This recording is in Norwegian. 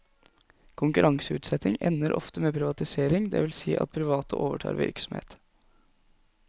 Konkurranseutsetting ender ofte med privatisering, det vil si at private overtar virksomhet.